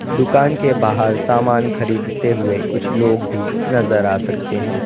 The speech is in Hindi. दुकान के बाहर सामान खरीदते हुए कुछ लोग भी नजर आ सकते हैं।